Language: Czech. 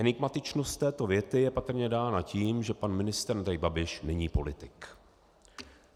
Enigmatičnost této věty je patrně dána tím, že pan ministr Andrej Babiš není politik.